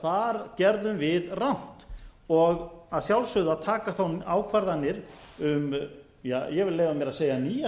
hvar gerðum við rangt og að sjálfsögðu að taka þá ákvarðanir um ég vil leyfa mér að segja nýja